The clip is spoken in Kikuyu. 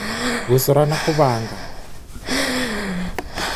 Gũcora na gũbanga.